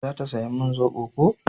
za ta saya min zobo ko?